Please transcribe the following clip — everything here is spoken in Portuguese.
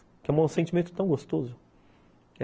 É um sentimento tão gostoso.